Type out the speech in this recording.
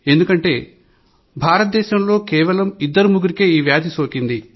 ఎందుకంటే భారత దేశంలో కేవలం ఇద్దరి ముగ్గురికే ఈ వ్యాధి సోకింది